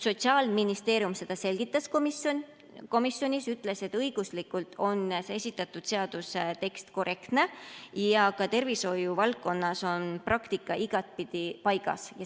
Sotsiaalministeerium seda selgitas komisjonis ja ütles, et õiguslikult on esitatud seaduse tekst korrektne ja ka tervishoiuvaldkonnas on praktika igatpidi paigas.